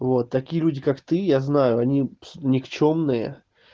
вот такие люди как ты я знаю они никчёмные